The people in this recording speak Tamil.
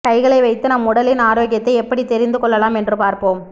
கைகளை வைத்து நம் உடலின் ஆரோக்கியத்தை எப்படி தெரிந்து கொள்ளலாம் என்று பார்ப்போம்